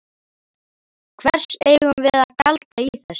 Hvers eigum við að gjalda í þessu?